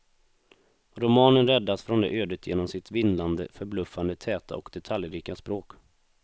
Romanen räddas från det ödet genom sitt vindlande, förbluffande täta och detaljrika språk.